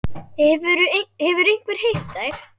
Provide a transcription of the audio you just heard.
Hefur einhver heyrt þær?